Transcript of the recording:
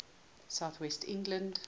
south west england